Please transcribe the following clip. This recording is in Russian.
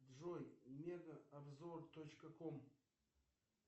джой мега обзор точка ком